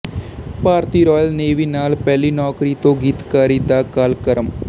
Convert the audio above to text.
ਭਾਰਤੀ Royal Navy ਨਾਲ ਪਹਿਲੀ ਨੌਕਰੀ ਤੋਂ ਗੀਤਕਾਰੀ ਦਾ ਕਾਲਕ੍ਰਮ